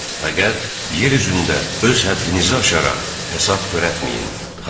Fəqət, yer üzündə öz həddinizi aşaraq həsəd törətməyin.